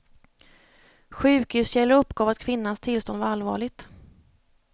Sjukhuskällor uppgav att kvinnans tillstånd var allvarligt.